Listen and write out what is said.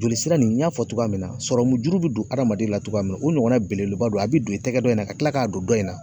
Joli sira nin n y'a fɔ Togoya min na, sɔrɔmujuru be don hadamaden na togoya min na o ɲɔgɔnna belebeleba don. A be don i tɛgɛ dɔ in na ka kila ka don dɔ in na.